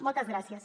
moltes gràcies